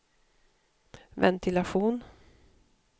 ventilation